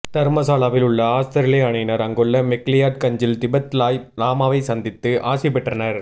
தர்மசலாவில் உள்ள ஆவுஸ்திரேலிய அணியினர் அங்குள்ள மெக்லியாட் கஞ்சில் திபெத் லாய் லாமாவைச் சந்தித்து ஆசி பெற்றனர்